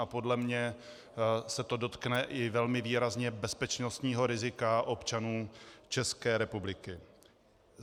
A podle mě se to dotkne i velmi výrazně bezpečnostního rizika občanů České republiky.